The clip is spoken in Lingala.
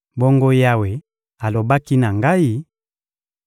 Bongo Yawe alobaki na ngai: